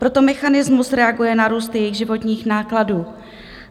Proto mechanismus reaguje na růst jejich životních nákladů.